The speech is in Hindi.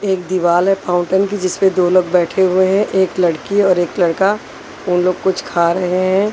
एक दीवाल है फाउंटेन की जिसपे दोनों बैठे हुए हैं एक लड़की और एक लड़का उन लोग कुछ खा रहे हैं।